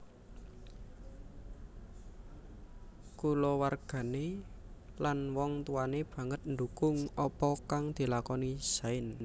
Kulawargane lan wong tuwane banget ndukung apa kang dilakoni Zain